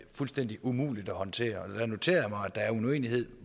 fuldstændig umuligt at håndtere jeg noterer mig at der er en uenighed